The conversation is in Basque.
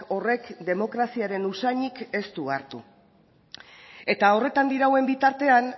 horrek demokraziaren usainik ez du hartu eta horretan dirauen bitartean